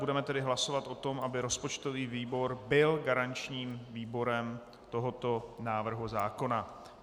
Budeme tedy hlasovat o tom, aby rozpočtový výbor byl garančním výborem tohoto návrhu zákona.